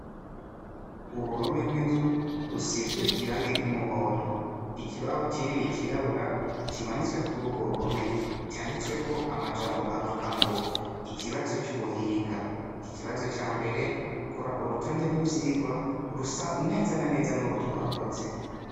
Uruhome rw'inzu rusizwe irange ry'umuhondo ikibaho c'inini cirabura kimanitswe kuri urwo ruhome canditswe ko amajambo avuga ngo ikibazo c'ubuhinga ikibazo ca mbere kora urutonde rw'ivyigwa rusa nezana neza n'uru twakoze.